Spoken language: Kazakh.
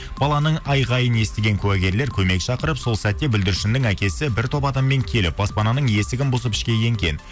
баланың айқайын естіген куәгерлер көмек шақырып сол сәтте бүлдіршіннің әкесі бір топ адаммен келіп баспананың есігін бұзып ішке енген